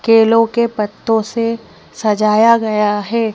केलों के पत्तों से सजाया गया है।